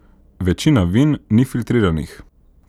Večina vin ni filtriranih.